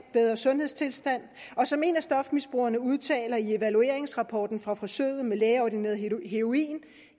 bedre sundhedstilstand som en af stofmisbrugerne udtaler i evalueringsrapporten fra forsøget med lægeordineret heroin